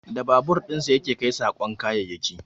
Da babur dinsa ya ke kai saƙon kayayyaki